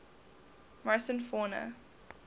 morrison fauna